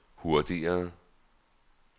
hurtigere